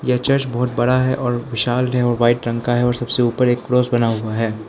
यह चर्च बहोत बड़ा है और विशाल है और वाइट रंग का है और सबसे ऊपर एक क्रॉस बना हुआ है।